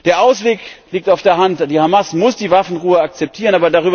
Der Ausweg liegt auf der Hand Die Hamas muss die Waffenruhe akzeptieren.